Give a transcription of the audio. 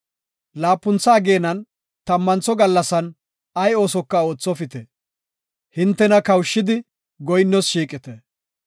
“Laapuntha ageenan tammantho gallasan ay oosoka oothopite; hintena kawushidi goyinnoos shiiqite.